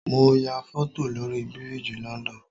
Mo ya foto lórí biriji London